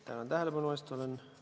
Tänan tähelepanu eest!